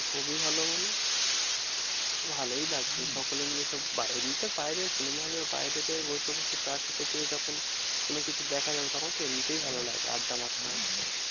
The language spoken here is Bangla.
খুবই ভালো মানে? ভালোই লাগবে হম সকলে মিলে সব এমনিতে বাইরে cinema hall বাইরে তে বসে বসে চা খেতে খেতে যখন কোনোকিছু দেখা যাবে তখন তো এমনিতেই ভালো লাগে। আড্ডা মারতে মারতে।